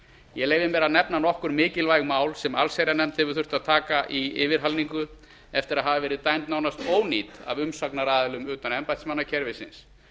ég leyfi mér að nefna nokkur mjög mikilvæg mál sem allsherjarnefnd hefur þurft að taka í yfirhalningu eftir að hafa verið dæmd nánast ónýt af umsagnaraðilum utan embættismannakerfisins